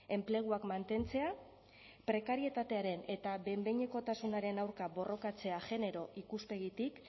enpleguak mantentzea prekarietatearen eta behin behinekotasunaren aurka borrokatzea genero ikuspegitik